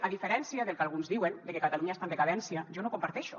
a diferència del que alguns diuen de que catalunya està en decadència jo no ho comparteixo